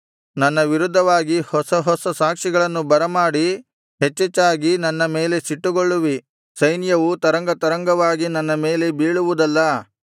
ನನ್ನ ವಿರುದ್ಧವಾಗಿ ಹೊಸ ಹೊಸ ಸಾಕ್ಷಿಗಳನ್ನು ಬರಮಾಡಿ ಹೆಚ್ಚೆಚ್ಚಾಗಿ ನನ್ನ ಮೇಲೆ ಸಿಟ್ಟುಗೊಳ್ಳುವಿ ಸೈನ್ಯವು ತರಂಗ ತರಂಗವಾಗಿ ನನ್ನ ಮೇಲೆ ಬೀಳುವುದಲ್ಲಾ